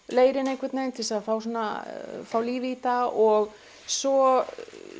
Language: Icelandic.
leirinn einhvern veginn til að fá fá líf í þetta og svo